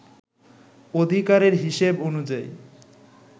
অধিকারের হিসেব অনুযায়ী